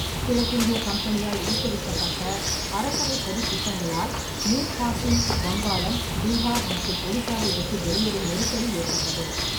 கிழக்கிந்திய கம்பனியால் ஊக்குவிக்கப்பட்ட அரசவைச் சதித் திட்டங்களால் மீர் காசிம் வங்காளம், பீகார் மற்றும் ஒடிசாவை விட்டு வெளியேறும் நெருக்கடி ஏற்பட்டது.